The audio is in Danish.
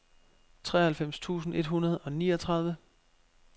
treoghalvfems tusind et hundrede og niogtredive